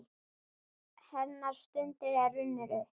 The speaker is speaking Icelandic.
Hennar stund er runnin upp.